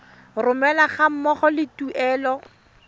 romelwa ga mmogo le tuelo